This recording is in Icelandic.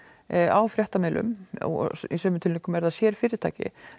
á fréttamiðlum og í sumum tilvikum eru það sér fyrirtæki